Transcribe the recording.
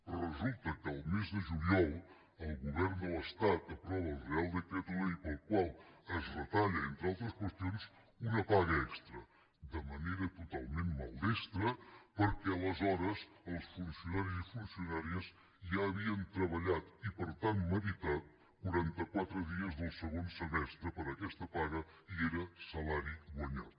però resulta que al mes de juliol el govern de l’estat aprova el real decreto ley pel qual es retalla entre altres qüestions una paga extra de manera totalment maldestra perquè aleshores els funcionaris i funcionàries ja havien treballat i per tant meritat quaranta quatre dies del segon semestre per aquesta paga i era salari guanyat